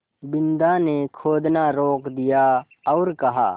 बिन्दा ने खोदना रोक दिया और कहा